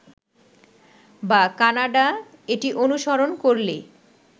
বা কানাডা এটি অনুসরণ করলে